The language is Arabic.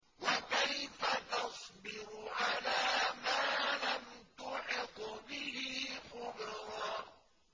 وَكَيْفَ تَصْبِرُ عَلَىٰ مَا لَمْ تُحِطْ بِهِ خُبْرًا